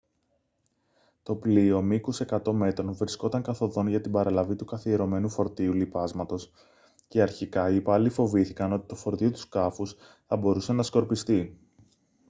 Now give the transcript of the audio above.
το πλοίο μήκους 100 μέτρων βρισκόταν καθ' οδόν για την παραλαβή του καθιερωμένου φορτίου λιπάσματος και αρχικά οι υπάλληλοι φοβήθηκαν ότι το φορτίο του σκάφους θα μπορούσε να σκορπιστεί